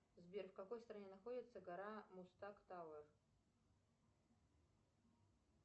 сбер в какой стране находится гора музтаг тауэр